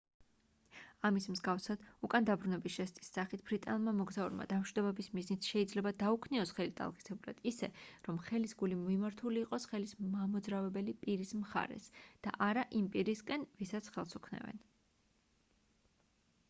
ამის მსგავსად უკან დაბრუნების ჟესტის სახით ბრიტანელმა მოგზაურმა დამშვიდობების მიზნით შეიძლება დაუქნიოს ხელი ტალღისებურად ისე რომ ხელის გული მიმართული იყოს ხელის მამოძრავებელი პირის მხარეს და არა იმ პირისკენ ვისაც ხელს უქნევენ